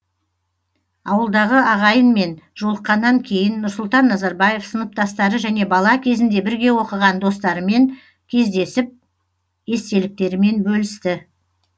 ауылдағы ағайынмен жолыққаннан кейін нұрсұлтан назарбаев сыныптастары және бала кезінде бірге оқыған достарымен кездесіп естеліктерімен бөлісті